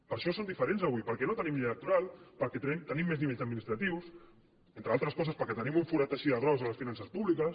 per això som diferents avui perquè no tenim llei electoral perquè tenim més nivells administratius entre altres coses perquè tenim un forat així de gros a les finances públiques